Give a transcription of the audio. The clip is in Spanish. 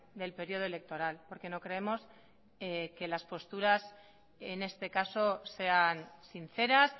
del periodo electoral porque no creemos que las posturas en este caso sean sinceras